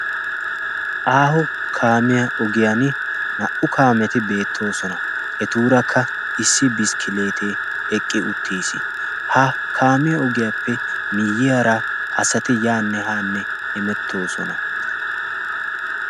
aaho kaamiya ogiyan naa77u kaameti beettoosona etuurakka issi biskkileetee eqqi uttiis ha kaamiya ogiyaappe miiyyiyaara asati yaa nehaanne emettoosona